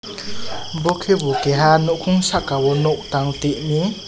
bo kebo keha nokong saka o nog tang tumi.